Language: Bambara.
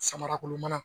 Samara kolon mana